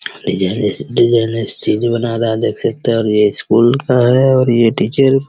डिजाइने से designer stage बना रहा है देख सकते हैं और ये स्कूल का है और ये टीचर --